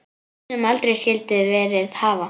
Sem aldrei skyldi verið hafa.